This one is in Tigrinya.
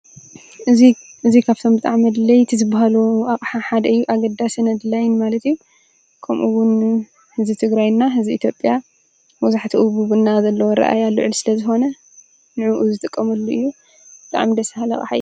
እዚ ካብቶም ብጣዕሚ አድለይቲ ዝበሃሉ አቅሓ ሓደ እዪ። አገዳስን አድላይን ማለት እዩ። ከምኡ ውን ህዝቢ ትግራይ ና ህዝቢ ኢትዮጵያ መብዛሕትኡ ብ ቡና ዘለዎ አረእያ ልዑል ስለ ዝኾነ ንዑኡ ዝጥቀመሉ እዩ። ብጣዕሚ ደስ በሃሊ አቅሓ እዪ ።